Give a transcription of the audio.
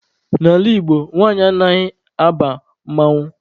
N'ala Igbo, nwanyị anaghị aba mmanwụ.